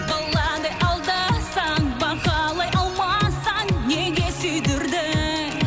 баладай алдасаң бағалай алмасаң неге сүйдірдің